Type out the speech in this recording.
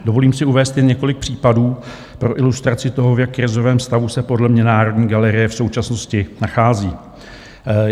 Dovolím si uvést jen několik případů pro ilustraci toho, v jak krizovém stavu se podle mě Národní galerie v současnosti nachází.